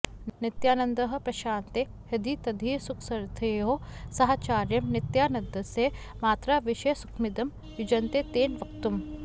नित्यानन्दः प्रशान्ते हृदि तदिह सुखस्थैर्ययोः साहचर्यं नित्यानन्दस्य मात्रा विषयसुखमिदं युज्यते तेन वक्तुम्